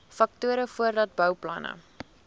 faktore voordat bouplanne